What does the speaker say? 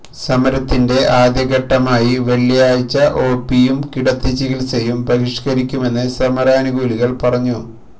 സമരത്തിന്റെ ആദ്യഘട്ടമായി വെളളിയാഴ്ച ഒ പിയും കിടത്തി ചികില്സയും ബഹിഷ്കരിക്കുമെന്ന് സമരാനുകൂലികൾ പറഞ്ഞു